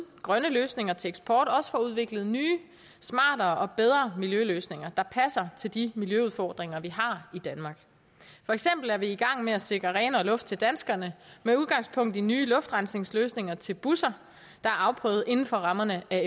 grønne løsninger til eksport også får udviklet nye smartere og bedre miljøløsninger der passer til de miljøudfordringer vi har i danmark for eksempel er vi i gang med at sikre renere luft til danskerne med udgangspunkt i nye luftrensningsløsninger til busser der er afprøvet inden for rammerne af